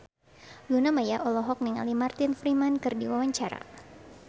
Luna Maya olohok ningali Martin Freeman keur diwawancara